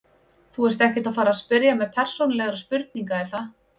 Þú ert ekkert að fara spyrja mig persónulegra spurninga er það?